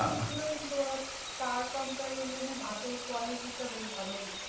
কিন্তু ওরা তার comparison এ ভাতের quality টা বেশ ভালো দিতো।